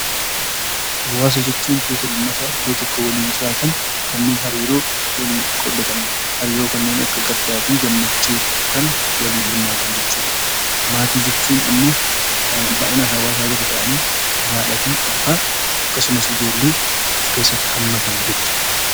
Hawaasa jechuun namoota naannoo tokko waliin jiraatan kanneen hariiroo kanneen akka gaddaa fi gammachuu waliin himaatan jechuudha. Maatii jechuun immoo kan baay'inaan hawaasaa gadi ta'anii kan haadha, abbaa fi daa'imma of keessatti qabatanidha.